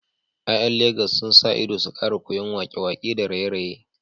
’Ya’yan Legas sun sa ido su kara koyan wake-wake da raye-raye